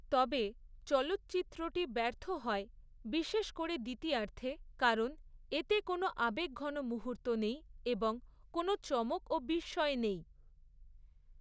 তবে, চলচ্চিত্রটি ব্যর্থ হয়, বিশেষ করে দ্বিতীয়ার্ধে, কারণ এতে কোনো আবেগঘন মুহূর্ত নেই এবং কোনও চমক ও বিস্ময় নেই।